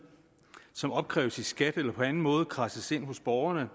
som opkræves i skat eller på anden måde kradses ind hos borgerne